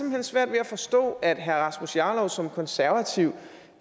hen svært ved at forstå at herre rasmus jarlov som konservativ